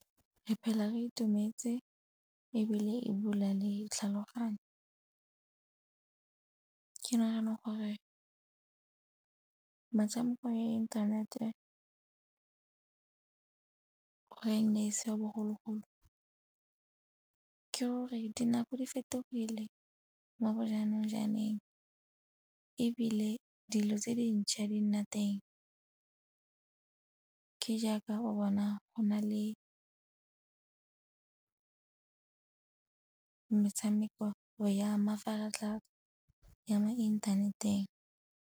Re phela re itumetse ebile e bula le tlhaloganyo. Ke nagana gore metshameko ya inthanete ga e ne e se ya bogologolo ke gore dinako di fetogile mo bo jaanong jaaneng ebile dilo tse dintšha di nna teng. Ke jaaka o bona go nna le metshameko ya mafaratlhatlha ya mo inthaneteng.